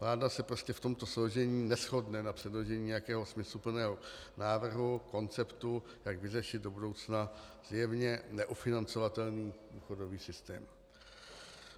Vláda se prostě v tomto složení neshodne na předložení nějakého smysluplného návrhu, konceptu, jak vyřešit do budoucna zjevně neufinancovatelný důchodový systém.